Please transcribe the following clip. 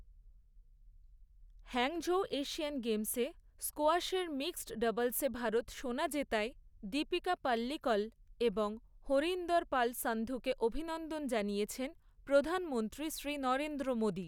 Hangzhou Asian গেমসে স্কোয়াশের mix ডাবলসে ভারত সোনা জেতায় দীপিকা পাল্লিকল এবং হরিন্দর পাল সান্ধুকে অভিনন্দন জানিয়েছেন প্রধানমন্ত্রী শ্রী নরেন্দ্র মোদী।